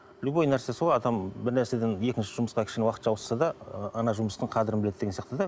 любой нәрсе солай адам бір нәрседен екінші жұмысқа кішкене уақытша ауысса да ы ана жұмыстың қадірін біледі деген сияқты да